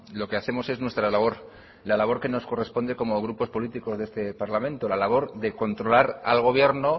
lo que hacemos es nuestra labor la labor que nos corresponde como grupos políticos de este parlamento la labor de controlar al gobierno